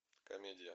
комедия